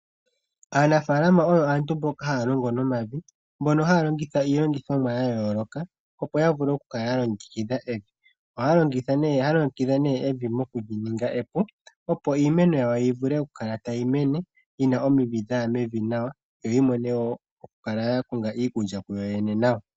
Aanafaalama oyo aantu mboka haa longo nomavi, mboka haa longitha iilogithomwa ya yooloka , opo ya vule okukala ya longekidha evi evi. Ohaa longekidha nee evi mokuli ninga epu, opo iimeno yawo yi vule okukala tayi mene yina omidhi dhaya mevi nawa , yo yi vule okukala ya konga iikulya kuyoyene nawa.